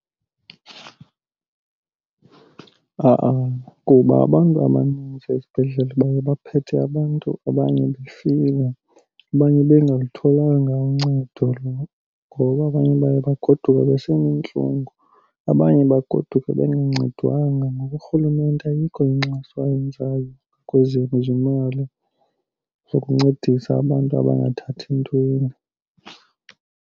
Ha-ana, kuba abantu abaninzi esibhedlele baye baphethe abantu abanye befile, abanye bengalutholanga uncedo ngoba abanye baye bagoduke beseneentlungu, abanye bagoduke bengancedwanga. Ngoba uRhulumente ayikho inkxaso ayenzayo kwezezimali zokuncedisa abantu abangathathi ntweni.